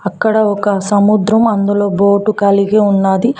ఇక్కడ ఒక సముద్రం అందులో బోటు కలిగి ఉన్నది.